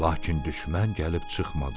Lakin düşmən gəlib çıxmadı.